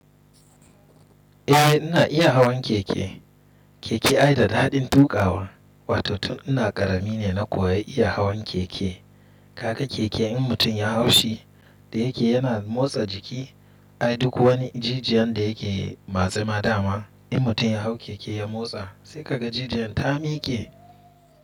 Eh ina iya hawan keke. Keke ai da daɗin tuƙawa. Wato tun ina ƙarami ne na kuwa iya hawan keke. Kaga keke in mutum ya hau shi da yake yana motsa jiki ai duk wani jijiyan da yake matsema dama in mutum ya hau keke ya motsa sai ka ga jijiyan ta miƙe.